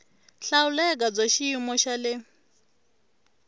hlawuleka bya xiyimo xa le